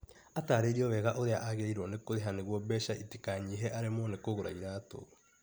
Atarĩirio wega ũrĩa agĩrĩirwo nĩ kũrĩha nĩguo mbeca itikanyihe aremwo nĩ kũgũra iratũ.